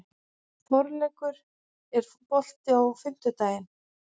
Þorleikur, er bolti á fimmtudaginn?